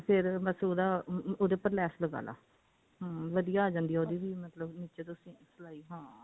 ਤੇ ਫੇਰ ਬਸ ਉਹਦਾ ਉਹਦੇ ਉੱਪਰ ਲੈਸ ਲਗਾਲੋ ਹਮ ਵਧਿਆ ਆ ਜਾਂਦੀ ਹੈ ਉਹਦੀ ਵੀ ਨਿੱਚੇ ਤੋਂ ਸਿਲਾਈ ਹਾਂ